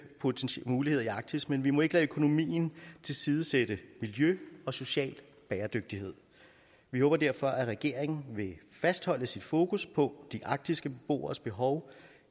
muligheder i arktis men vi må ikke lade økonomien tilsidesætte miljø og social bæredygtighed vi håber derfor at regeringen vil fastholde sit fokus på de arktiske beboeres behov